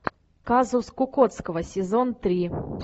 казус кукоцкого сезон три